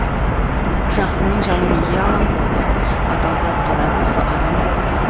жақсының жаны неге алаң болды адалзат қалай осы арам болды